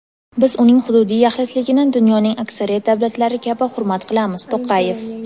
Biz uning hududiy yaxlitligini dunyoning aksariyat davlatlari kabi hurmat qilamiz – To‘qayev.